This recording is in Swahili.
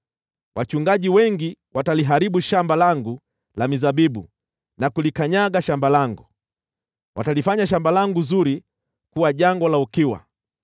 Wachungaji wengi wataliharibu shamba langu la mizabibu na kulikanyaga shamba langu; watalifanya shamba langu zuri kuwa jangwa la ukiwa.